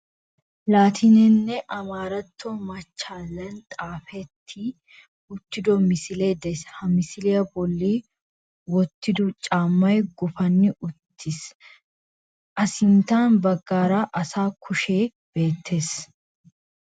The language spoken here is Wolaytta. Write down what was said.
Laatinenne amaaratto machchallay xaafetti uttido misilee de'ees. Ha misiliya bolli wottiddo caammay guppani uttiis. A Sintta baggaara asa kushekka bettees.